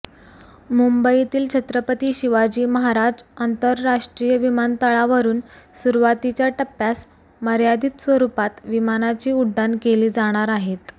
मुंबईतील छत्रपती शिवाजी महाराज आंतरराष्ट्रीय विमानतळावरून सुरवातीच्या टप्प्यास मर्यादित स्वरूपात विमानाची उड्डाण केली जाणार आहेत